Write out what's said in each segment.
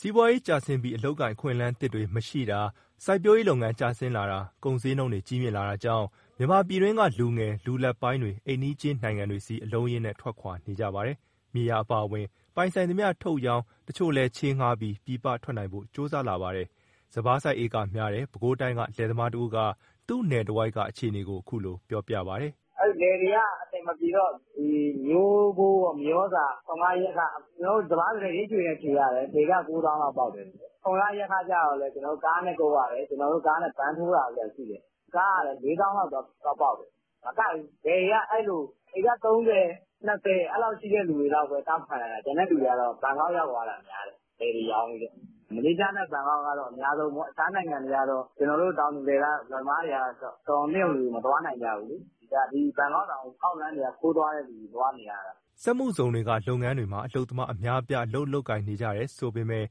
စီးပွားရေးကျဆင်းပြီး အလုပ်အကိုင် အခွင့်အလမ်းသစ်တွေ မရှိတာ၊ စိုက်ပျိုးရေးလုပ်ငန်း ကျဆင်းလာတာ၊ ကုန်ဈေးနှုန်းတွေ ကြီးမြင့်လာတာကြောင့် မြန်မာပြည်တွင်းက လူငယ် လူလတ်ပိုင်းတွေ အိမ်နီးချင်းနိုင်ငံတွေဆီ အလုံးအရင်းနဲ့ ထွက်ခွာနေကြပါတယ်။ မြေယာအပါအဝင် ပိုင်ဆိုင်သမျှ ထုတ်ရောင်း၊ တချို့ကလည်း ချေးငှားပြီး ပြည်ပထွက်နိုင်ဖို့ ကြိုးစားလာကြပါတယ်။ စပါးစိုက် ဧကများတဲ့ ပဲခူးတိုင်းက လယ်သမားတဦးက သူ့နယ်တဝိုက်က အခြေအနေကို အခုလိုပြောပြပါတယ်။ " လယ်တွေက အဆင်မပြေတော့ ထွန်ခယက်ခတွေနဲ့ မျိုးဖိုး၊ မြေဩဇာ၊ ထွန်ခယက်ခ။ စပါးဆိုရင် ရိတ်ခြွေနဲ့ခြွေရတယ် တဧက၉သောင်းလောက် ပေါက်တယ်၊ ထွန်ခယက်ခကြတော့ ကားနဲ့ကုပ်ရတယ် ဗန်းထိုးတာတို့ဘာတို့။ ကားကလည်း ၄ သောင်းလောက်ပေါက်တယ်။ မကိုက်ဘူး လယ်တွေကအဲလို ဧက ၃၀၊ ၂၀ အဲလောက်ရှိတဲ့ သူတွေလောက်ပဲ တောင့်ခံနိုင်တာ။ ကျန်တဲ့သူတွေက ဘန်ကောက်ရောက်သွားတာများတယ် လယ်တွေရောင်းပြီးတော့။ မလေးရှားနဲ့ ဘန်ကောက်ကတော့ အများဆုံးပေါ့၊ အခြားနိုင်ငံတွေကတော့ ကျနော်တို့ တောင်သူလယ်သမားတွေက တော်ရုံသင့်ရုံလူတွေ မသွားနိုင်ကြဘူး။ ဘန်ကောက်တောင် အောက်လမ်းက ခိုးသွားနေရတာ။" စက်မှုဇုံတွေက လုပ်ငန်းတွေမှာ အလုပ်သမား အများအပြား အလုပ်လုပ်ကိုင်နေကြတယ်ဆိုပေမဲ့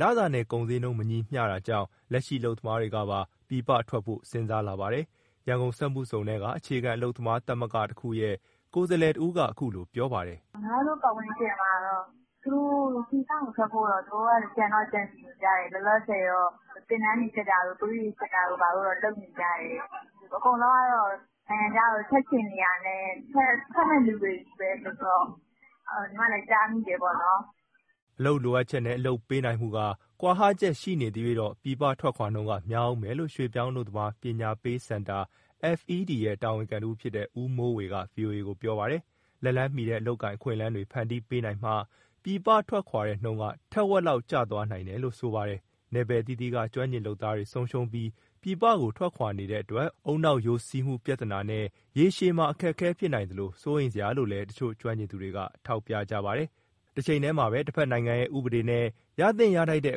လစာနဲ့ ကုန်ဈေးနှုန်း မညီမျှတာကြောင့် လက်ရှိအလုပ်သမားတွေကပါ ပြည်ပထွက်ဖို့ စဉ်းစားလာပါတယ်။ ရန်ကုန်စက်မှုဇုံက အခြေခံ အလုပ်သမားသဂ္ဂတခုရဲ့ ကိုယ်စားလှယ်တဦးက အခုလိုပြောပါတယ်။ " ညီမတို့ ပတ်ဝန်းကျင်မှာတော့ ပြည်ပကိုထွက်ဖို့ သူတို့ကြံတော့ ကြံစည်နေကြတယ်။ လောလောဆယ်တော့ သင်တန်းတွေတက်တာတို့ သွေးတွေစစ်တာတို့တော့ လုပ်နေကြတယ်။ အကုန်လုံးကတော့ နိုင်ငံခြားကို ထွက်ချင်နေတာနဲ့၊ ထွက်မယ့်သူတွေချည်းပဲဆိုတော့ ညီမလည်း ကြားမိတယ်ပေါ့နော်။" အလုပ်လိုအပ်ချက်နဲ့ အလုပ်ပေးနိုင်မှုက ကွာဟချက်ရှိနေသရွှေ့ ပြည်ပထွက်ခွာနှုန်းက များဦးမယ်လို့ ရွှေ့ပြောင်းအလုပ်သမား ပညာပေးစင်တာ FED ရဲ့ တာဝန်ခံတဦးဖြစ်တဲ့ ဦးမိုးဝေက ဗွီအိုအေကို ပြောပါတယ်။ လက်လှမ်းမီတဲ့ အလုပ်အကိုင်အခွင့်အလမ်းတွေ ဖန်တီးပေးနိုင်မှ ပြည်ပထွက်ခွာတဲ့နှုန်းက ထက်ဝက်လောက် ကျသွားနိုင်တယ်လို့ ပြောပါတယ်။ နယ်ပယ်အသီးသီးက ကျွမ်းကျင်လုပ်သားတွေ ဆုံးရှုံးပြီး ပြည်ပကို ထွက်ခွာနေတဲ့အတွက် ဦးနှောက်ယိုစီးမှုပြဿနာနဲ့ ရေရှည်မှာ အခက်အခဲ ဖြစ်နိုင်သလို စိုးရိမ်စရာလို့လည်း တချို့ကျွမ်းကျင်သူတွေက ထောက်ပြကြပါတယ်။ တချိန်တည်းမှာ တဖက်နိုင်ငံရဲ့ ဥပဒေနဲ့ ရသင့်ရထိုက်တဲ့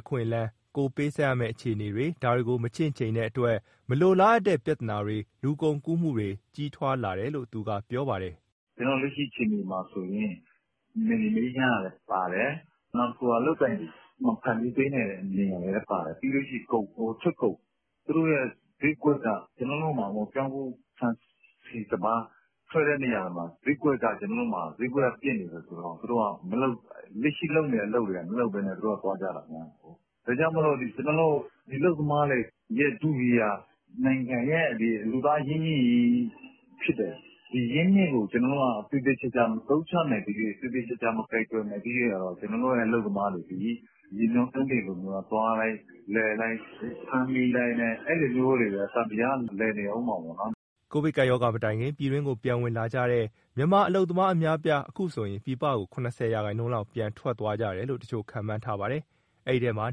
အခွင့်အလမ်း၊ ကိုယ်ပေးဆပ်ရမဲ့ အခြေအနေတွေ ဒါတွေကို မချင့်ချိန်တဲ့အတွက် မလိုလားအပ်တဲ့ ပြဿနာတွေ၊ လူကုန်ကူးမှုတွေက ကြီးထွားလာတယ်လို့ သူကပြောပါတယ်။ " လက်ရှိအခြေအနေမှာဆိုရင် နယ်မြေမအေးချမ်းတာလည်းပါတယ်၊ နောက်တခုက အလုပ်အကိုင် မဖန်တီးနိုင်တာလည်းပါတယ်။ ပြီးရင် ထွက်ကုန်၊ ဈေးကွက်က ပြောင်းဖူး၊ ဆန်၊ ဆီ၊ စပါး ထွက်တဲ့နေရာတွေမှာ ဈေးကွက်က ပျက်နေတယ်ဆိုတော့ လက်ရှိလုပ်နေတဲ့ အလုပ်တွေကို မလုပ်ဘဲနဲ့ သူတို့ကသွားကြတာ။ ဒါကြောင့်မို့ အလုပ်သမားတွေရဲ့ ထုကြီးက နိုင်ငံရဲ့ လူသားအရင်းအမြစ်ကြီး ဖြစ်တယ်၊ ဒီအရင်းအမြစ်ကို ကျနော်တို့က သေသေချာချာ မသုံးချနိုင်သမ ျှ၊ မကိုင်တွယ်နိုင်သမ ျှက ကျနော်တို့ အလုပ်သမားတွေသည် ရေမျောကမ်းတင်လို သွားလိုက်၊ လည်လိုက်၊ ဖမ်းမိလိုက် အဲလိုမျိုးတွေပဲ သံသရာက လည်နေဦးမှာပဲ ဒါက ကျနော်တို့အမြင်ကို ပြောတာပေါ့။" ကိုဗစ်ကပ်ရောဂါ မတိုင်ခင်က ပြည်တွင်းကို ပြန်ဝင်လာကြတဲ့ မြန်မာအလုပ်သမား အများအပြား အခုဆိုရင် ပြည်ပကို ၇၀ ရာခိုင်နှုန်းလောက် ပြန်ထွက်သွားတယ်လို့ တချို့ခန့်မှန်းထားပါတယ်။ အဲဒီအထဲမှာ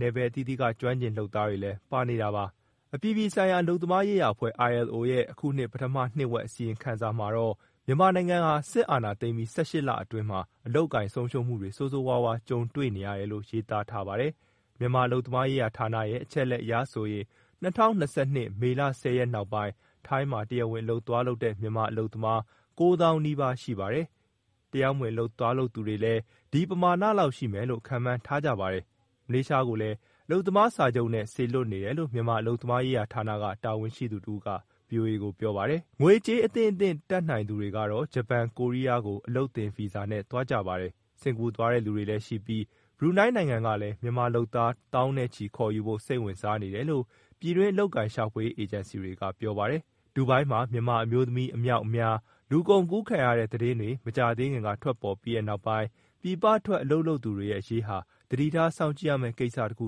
နယ်ပယ်အသီးသီးက ကျွမ်းကျင် လုပ်သားတွေလည်း ပါနေတာပါ။ အပြည်ပြည်ဆိုင်ရာ အလုပ်သမားရေးရာအဖွဲ့ ILO ရဲ့ အခုနှစ်ပထမနှစ်ဝက် အစီရင်ခံစာမှာတော့ မြန်မာနိုင်ငံဟာ အာဏာသိမ်းပြီး ၁၈ လအတွင်းမှာ အလုပ်အကိုင် ဆုံးရှုံးမှုတွေ ဆိုးဆိုးရွားရွား ကြုံတွေ့နေရတယ်လို့ ရေးသားထားပါတယ်။ မြန်မာအလုပ်သမားရေးဌာနရဲ့ အချက်အလက်အရဆိုရင်၂၀၂၂ မေလ ၁၀ ရက်နောက်ပိုင်း ထိုင်းမှာတရားဝင် အလုပ်သွားလုပ်တဲ့ မြန်မာအလုပ်သမားက ၉ သောင်းနီးပါးရှိပါတယ်။ တရားမဝင်သွားတဲ့သူကလည်း ဒီပမာဏလောက်ရှိမယ်လို့ ခန့်မှန်းထားကြပါတယ်။ မလေးရှားကိုလည်း အလုပ်သမားစာချုပ်နဲ့ စေလွှတ်နေတယ်လို့ မြန်မာအလုပ်သမားရေးဌာနက တာဝန်ရှိသူတဦးက ဗွီအိုအေကို ပြောပါတယ်။ ငွေကြေး အသင့်အတင့် တတ်နိုင်သူတွေကတော့ ဂျပန်နဲ့ ကိုရီးယာကို အလုပ်သင်ဗီဇာနဲ့ သွားကြပါတယ်။ စင်္ကာသွားတဲ့သူတွေလည်းရှိပြီး ဘရူနိုင်းနိုင်ငံကလည်း မြန်မာလုပ်သား သောင်းနဲ့ချီပြီးခေါ်ယူဖို့ စိတ်ဝင်စားနေတယ်လို့ ပြည်တွင်း အလုပ်အကိုင်ရှာဖွေရေး အေဂျင်စီတွေကပြောပါတယ်။ ဒူဘိုင်းမှာ မြန်မာအမျိုးသမီး အမြောက်အများ လူကုန်ကူးခံရတဲ့ သတင်းတွေ မကြာသေးခင်က ထွက်ပေါ်ပြီးနောက်ပိုင်း ပြည်ပထွက် အလုပ်လုပ်သူတွေရဲ့ အရေးဟာ သတိထားစောင့်ကြည့်ရမယ့်ကိစ္စတခု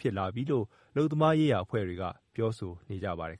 ဖြစ်လာပြီလို့ အလုပ်သမားရေးရာ အဖွဲ့တွေက ပြောဆိုနေကြပါတယ်